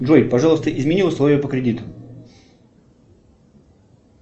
джой пожалуйста измени условия по кредиту